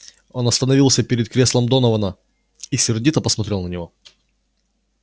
он остановился перед креслом донована и сердито посмотрел на него